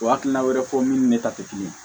O hakilina wɛrɛw fɔ min ni ne ta tɛ kelen ye